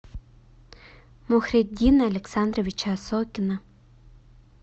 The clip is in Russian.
мухриддина александровича осокина